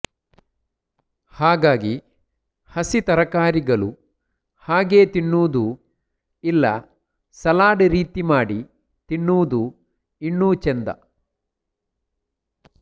ಹಾಗಾಗಿ ಹಸಿ ತರಕಾರಿಗಳು ಹಾಗೇ ತಿನ್ನುವುದು ಇಲ್ಲ ಸಲಾಡ್ ರೀತಿ ಮಾಡಿ ತಿನ್ನುವುದು ಇನ್ನೂ ಚೆಂದ